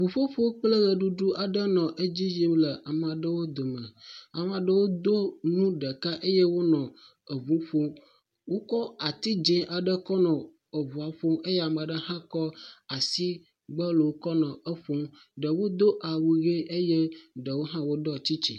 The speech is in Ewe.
Ŋuƒoƒo kple ʋeɖuɖu aɖe nɔ edzi yim le ame aɖewo dome. Amea aɖewo do nu ɖeka eye wonɔ eŋu ƒom. Wokɔ ati dzi aɖe kɔ nɔ eŋua ƒom eye ame aɖe hã kɔ asigbɔlo kɔnɔ eƒom. Ɖewo do awu ʋe eye ɖewo hã woɖɔ tsitsi.